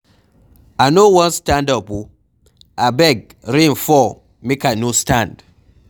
I no wan stand up oo, abeg rain fall make I no stand.